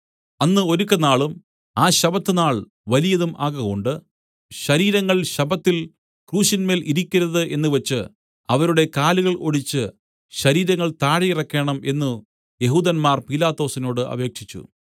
അന്ന് ഒരുക്കനാളും ആ ശബ്ബത്ത് നാൾ വലിയതും ആകകൊണ്ട് ശരീരങ്ങൾ ശബ്ബത്തിൽ ക്രൂശിന്മേൽ ഇരിക്കരുത് എന്നുവച്ച് അവരുടെ കാലുകൾ ഒടിച്ച് ശരീരങ്ങൾ താഴെയിറക്കേണം എന്നു യെഹൂദന്മാർ പീലാത്തോസിനോട് അപേക്ഷിച്ചു